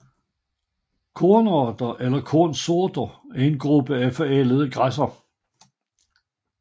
Kornarter eller kornsorter er en gruppe af forædlede græsser